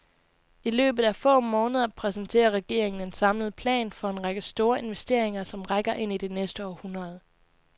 I løbet af få måneder præsenterer regeringen en samlet plan for en række store investeringer, som rækker ind i det næste århundrede.